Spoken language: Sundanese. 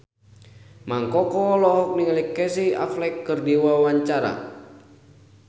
Mang Koko olohok ningali Casey Affleck keur diwawancara